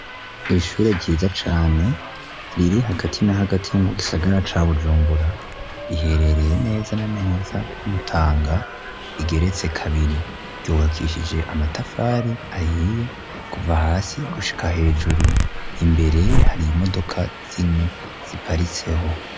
Ishure ryiza cane riri hagati na hagati mu gisagara ca bujumbura riherereye neza na neza k'umutanga rigeretse kabiri ryubakishije amatafari ahiye kuva hasi gushika hejuru imbere hariye imodoka zine ziparitseho.